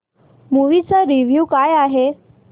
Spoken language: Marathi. मूवी चा रिव्हयू काय आहे